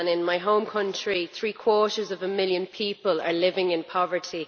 In my home country, three quarters of a million people are living in poverty.